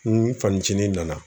N fanicini nana